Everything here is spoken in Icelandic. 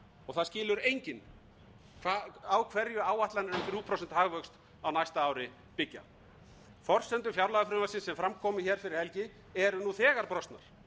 og það skilur enginn á hverju áætlanir um þriggja prósenta hagvöxt á næsta ári byggja forsendur fjárlagafrumvarpsins sem fram kom hér fyrir helgi eru nú þegar brostnar